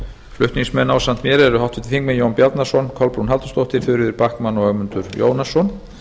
flutningsmenn ásamt mér eru háttvirtir þingmenn jón bjarnason kolbrún halldórsdóttir þuríður backman og ögmundur jónasson